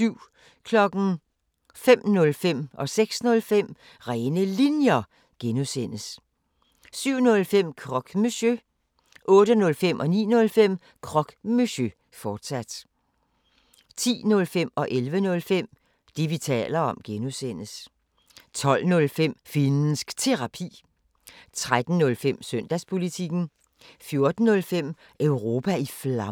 05:05: Rene Linjer (G) 06:05: Rene Linjer (G) 07:05: Croque Monsieur 08:05: Croque Monsieur, fortsat 09:05: Croque Monsieur, fortsat 10:05: Det, vi taler om (G) 11:05: Det, vi taler om (G) 12:05: Finnsk Terapi 13:05: Søndagspolitikken 14:05: Europa i Flammer